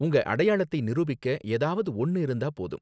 உங்க அடையாளத்தை நிரூபிக்க ஏதாவது ஒன்னு இருந்தா போதும்.